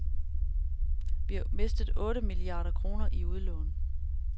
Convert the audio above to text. Vi har mistet otte milliarder kroner i udlån.